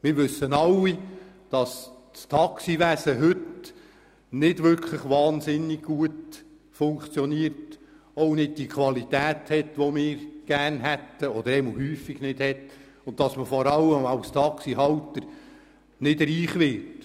Wir alle wissen, dass das Taxigewerbe heute nicht wahnsinnig gut funktioniert, häufig nicht die Qualität hat, die wir möchten und dass Taxihalter auch nicht reich werden.